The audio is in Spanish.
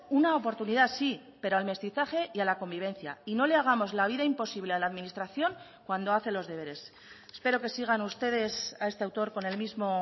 una oportunidad sí pero al mestizaje y a la convivencia y no le hagamos la vida imposible a la administración cuando hace los deberes espero que sigan ustedes a este autor con el mismo